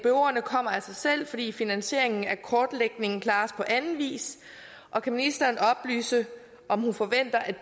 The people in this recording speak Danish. kommer af sig selv fordi finansieringen af kortlægningen klares på anden vis og kan ministeren oplyse om hun forventer at